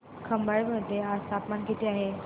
खंबाळे मध्ये आज तापमान किती आहे